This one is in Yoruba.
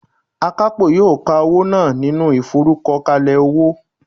Akapo yoo ka owo naa ninu iforukokale owo